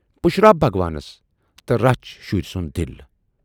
پُشراو بھگوانس تہٕ رچھ شُرۍ سُند دِل۔